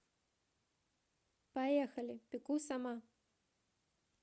поехали пеку сама